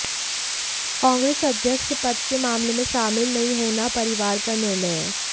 कांग्रेस अध्यक्ष पद के मामले में शामिल नहीं होना परिवार का निर्णय है